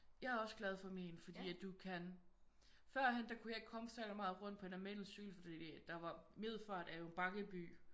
Jeg er også glad for mig fordi at du kan førhen der kunne jeg ikke komme særlig meget rundt på en almindelig cykel fordi der var Middelfart er jo en bakket by